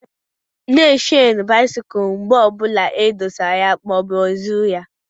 Na e shenu bisikul mgbe ọbụla e dosara ya maọbụ e zụrụ ya!